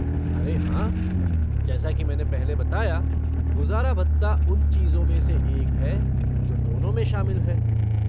अरे हाँ, जैसा कि मैंने पहले बताया, गुजारा भत्ता उन चीजों में से एक है जो दोनों में शामिल है।